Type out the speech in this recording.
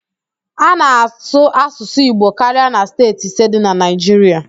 A na-asụ Asụsụ Igbo karia na steeti ise dị na Naịjiria